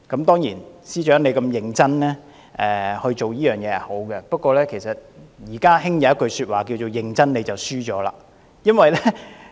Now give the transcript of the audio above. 當然，司長如此認真是好事，不過現在時興一句說話是"認真你便輸了"。